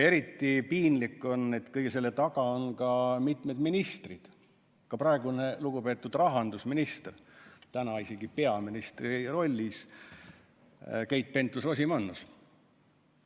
Eriti piinlik on, et kõige selle taga on mitu ministrit, ka praegune lugupeetud rahandusminister, täna isegi peaministri rollis Keit Pentus-Rosimannus.